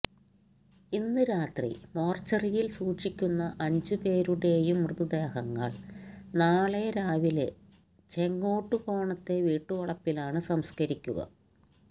ഇന്ന് രാത്രി മോര്ച്ചറിയില് സൂക്ഷിക്കുന്ന അഞ്ച് പേരുടേയും മൃതദേഹങ്ങള് നാളെ രാവിലെ ചെങ്ങോട്ടുകോണത്തെ വീട്ടുവളപ്പിലാണ് സംസ്കരിക്കുക